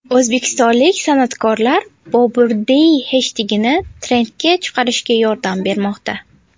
O‘zbekistonlik san’atkorlar #BoburDay heshtegini trendga chiqarishga yordam bermoqda .